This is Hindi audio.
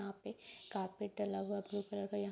यहाँ पे कारपेटर लगा ब्लू कलर --